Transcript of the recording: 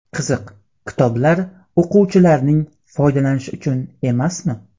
Qiziq, kitoblar o‘quvchilarning foydalanishi uchun emasmi?